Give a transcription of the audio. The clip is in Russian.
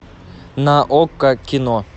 на окко кино